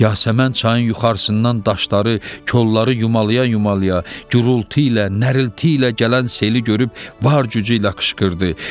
Yasəmən çayın yuxarısından daşları, kolları yumalaya-yumalaya, gurultu ilə, nərilti ilə gələn seli görüb var gücü ilə qışqırdı: